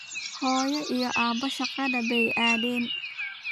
Hooyo iyo aabbe shaqada bay aadeen